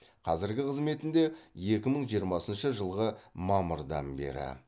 қазіргі қызметінде екі мың жиырмасыншы жылғы мамырдан бері